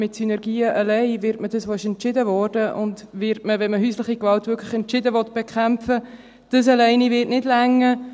Wenn man häusliche Gewalt wirklich entschieden bekämpfen will, werden für das, was entschieden wurde, Synergien allein nicht ausreichen.